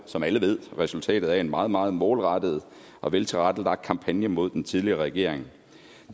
som alle ved resultatet af en meget meget målrettet og veltilrettelagt kampagne mod den tidligere regering